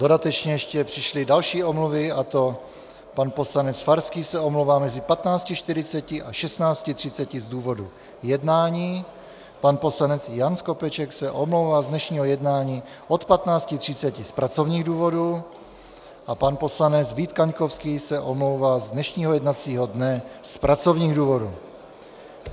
Dodatečně ještě přišly další omluvy, a to pan poslanec Farský se omlouvá mezi 15.40 a 16.30 z důvodu jednání, pan poslanec Jan Skopeček se omlouvá z dnešního jednání od 15.30 z pracovních důvodů a pan poslanec Vít Kaňkovský se omlouvá z dnešního jednacího dne z pracovních důvodů.